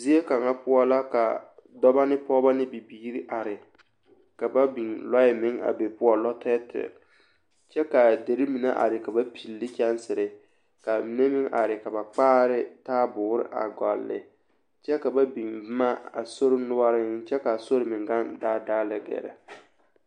Zie kaŋa poɔ la ka dɔbɔ ne pɔgebɔ be bibiiri are ka ba lɔɛ meŋ a be poɔ, lɔtɛɛtɛɛ kyɛ k'a deri mine are ka ba pilli ne kyɛnsiri k'a mine meŋ are ka ba kpaare ne taaboore a gɔlle kyɛ ka ba biŋ boma a sori noɔreŋ kyɛ k'a sori meŋ gaŋ daadaa lɛ gɛrɛ.